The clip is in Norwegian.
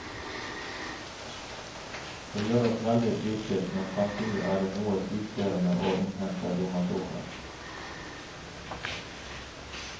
Det gjør oss veldig fristilt, men samtidig er det noe tidkrevende å innhente donasjoner.